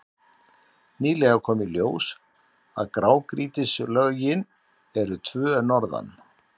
Nýlega kom í ljós að grágrýtislögin eru tvö norðan